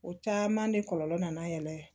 O caman de kɔlɔlɔ nana yɛrɛ